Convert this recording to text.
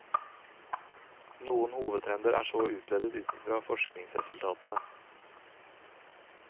Noen hovedtrender er så utledet utfra forskningsresultatene.